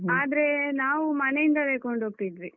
ಆದ್ರೆ ನಾವು ಮನೆಯಿಂದಲೇ ಕೊಂಡೋಗ್ತಿದ್ವಿ.